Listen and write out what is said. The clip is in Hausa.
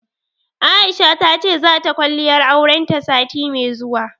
Aisha ta ce, za ta kwalliyar auren ta sati mai zuwa.